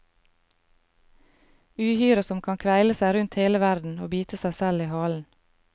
Uhyret som kan kveile seg rundt hele verden og bite seg selv i halen.